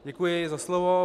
Děkuji za slovo.